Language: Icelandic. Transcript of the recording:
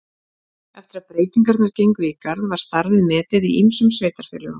Eftir að breytingarnar gengu í garð var starfið metið í ýmsum sveitarfélögum.